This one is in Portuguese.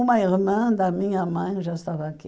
Uma irmã da minha mãe já estava aqui.